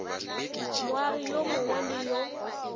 moagi yo mongwe le yo